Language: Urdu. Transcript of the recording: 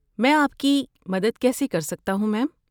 میں آپ کی مدد کیسے کر سکتا ہوں، میم؟